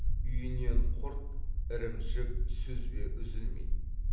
үйінен құрт ірімшік сүзбе үзілмейді